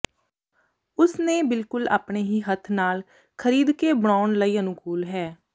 ਉਸ ਨੇ ਬਿਲਕੁਲ ਆਪਣੇ ਹੀ ਹੱਥ ਨਾਲ ਖਰੀਦਕੇ ਬਣਾਉਣ ਲਈ ਅਨੁਕੂਲ ਹੈ